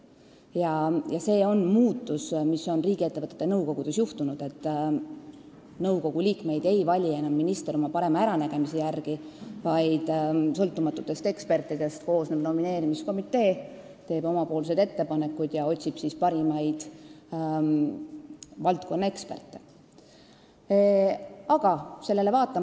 Ongi ju toimunud see muutus, et riigiettevõtete nõukogude liikmeid ei vali minister oma parema äranägemise järgi, vaid sõltumatutest ekspertidest koosnev nomineerimiskomitee otsib välja parimad valdkonnaeksperdid ja teeb siis omad ettepanekud.